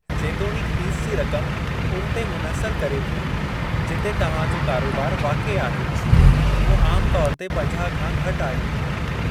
जेतोणीकि फ़ीस जी रक़म उन ते मुनहसर करे थी जिते तव्हां जो कारोबार वाक़िआ आहे, उहो आमु तौर ते पंजाह खां घटि आहे।